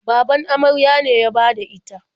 Baban amarya ne ya bada ita.